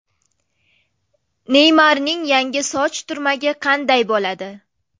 Neymarning yangi soch turmagi qanday bo‘ladi?